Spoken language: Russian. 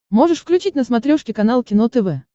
можешь включить на смотрешке канал кино тв